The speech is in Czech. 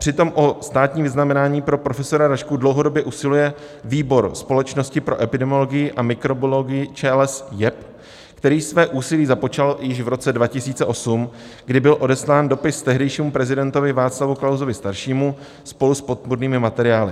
Přitom o státní vyznamenání pro profesora Rašku dlouhodobě usiluje Výbor společnosti pro epidemiologii a mikrobiologii ČLS JEP, který své úsilí započal již v roce 2008, kdy byl odeslán dopis tehdejšímu prezidentovi Václavu Klausovi staršímu spolu s podpůrnými materiály.